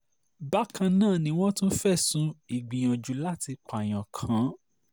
bákan náà ni wọ́n tún fẹ̀sùn ìgbìyànjú láti pààyàn kàn án